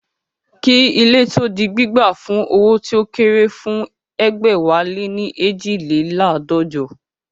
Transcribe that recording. Kí ilé tó di gbígbà fún owó tí ó kéré fún egbẹ̀wáléní eejileládọ́jọ